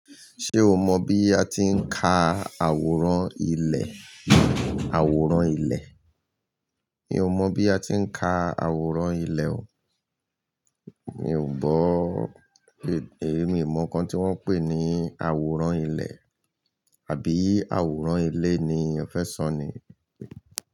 Ṣé o mọ bí a ti ń ka àwòrán ilẹ̀? Àwòrán ilẹ̀. Mi ò mọ bí a ti ń ka àwòrán ilẹ̀ o. Mi ò gbọ́, èmi mọ nǹkan tí wọ́n ń pè ní àwòrán ilẹ̀, àbí àwòrán ilé ni ẹ fẹ́ sọ̀n ni?